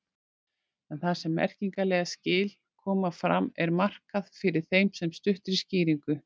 En þar sem merkingarleg skil koma fram er markað fyrir þeim með stuttri skýringu.